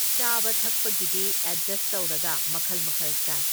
ꯆꯥꯕ ꯊꯛꯄꯒꯤꯗꯤ ꯑꯦꯗꯖꯁ ꯇꯧꯔꯒ ꯃꯈꯜ ꯃꯈꯜ ꯆꯥꯏ꯫